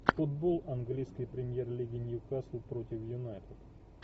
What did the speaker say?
футбол английской премьер лиги ньюкасл против юнайтед